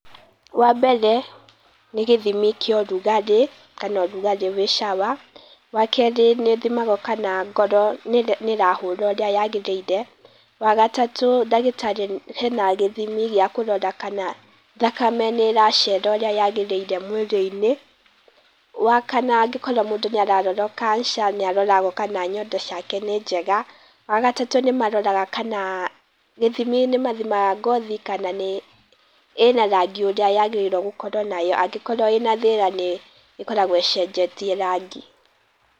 Wambere nĩ gĩthimi kĩa ũrugarĩ kana ũrugarĩ wĩ shower, wakerĩ nĩ thimagwo kana ngoro nĩ ĩrahũra ũria yagĩrĩire, wagatatũ ndagĩtarĩ hena gĩthimi gĩa kũrora kana thakame nĩ ĩracera ũrĩa yagĩrĩire mwĩrĩ-inĩ. Wakana angĩkorwo mũndũ nĩ ararorwo cancer nĩ aroragwo kana nyondo ciake nĩ njega, wagatatũ nĩ maroraga kana gĩthimi nĩmathimaga ngothi kana nĩ ĩna rangi ũrĩa yagĩrĩirwo gũkorwo nayo angĩkorwo ĩna thĩna nĩ ĩkoragwo ĩcenjetie rangi.